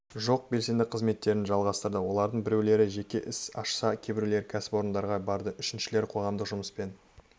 жоқ белсенді қызметтерін жалғастырды олардың біреулері жеке іс ашса кейбіреулері кәсіпорындарға барды үшіншілері қоғамдық жұмыспен